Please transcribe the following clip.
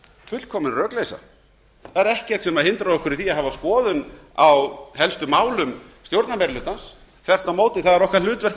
fullkomin rökleysa það er ekkert sem hindrar okkur í því að hafa skoðun á helstu málum stjórnarmeirihlutans það er þvert á móti hlutverk